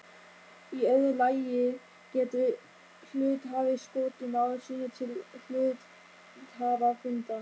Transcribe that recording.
Í öðru lagi getur hluthafi skotið mál sínu til hluthafafundar.